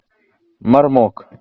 мармок